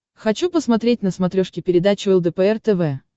хочу посмотреть на смотрешке передачу лдпр тв